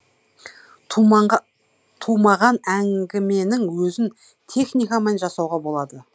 тумаған әңгіменің өзін техникамен жасауға болады